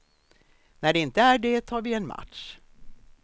När det inte är det tar vi en match.